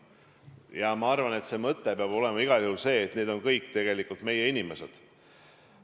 Ja ma arvan, et mõte peab olema igal juhul see, et need on kõik tegelikult meie inimesed.